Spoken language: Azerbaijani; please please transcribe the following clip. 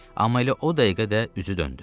Amma elə o dəqiqə də üzü döndü.